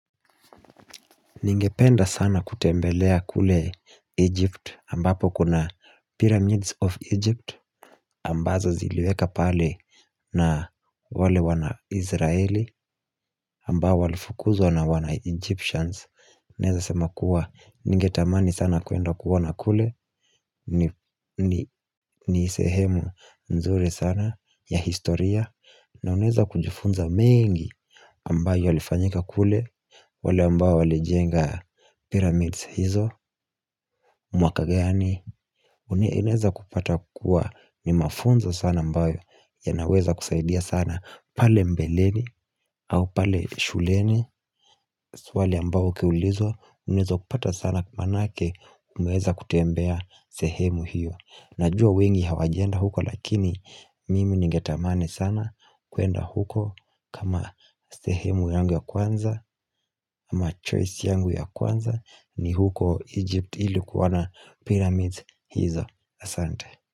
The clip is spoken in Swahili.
Ningependa sana kutembelea kule Egypt ambapo kuna pyramids of Egypt ambazo ziliweka pale na wale wana Israeli ambao walifukuzwa na wana Egyptians Neza sema kuwa ningetamani sana kuenda kuona kule ni sehemu nzuri sana ya historia na uneza kujifunza mengi ambayo yalifanyika kule wale ambayo walijenga pyramids hizo mwaka gani Uneza kupata kuwa ni mafunzo sana ambayo ya naweza kusaidia sana pale mbeleni au pale shuleni wale ambayo kiulizo Unaweza kupata sana manake Mweza kutembea sehemu hiyo Najua wengi hawajenda huko lakini Mimi nigetamani sana kuenda huko kama sehemu yangu ya kwanza ama choice yangu ya kwanza ni huko Egypt ilikuona pyramid hizo Asante.